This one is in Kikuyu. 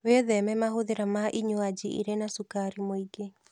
Wĩtheme mahũthĩra ma inywaji irĩ na cukari mwĩingĩ